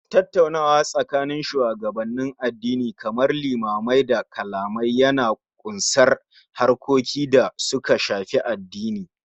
Tattaunawa tsakanin shugabannin addini kamar limamai da kalamai Yana ƙunsar harkokin da suka Shafi addini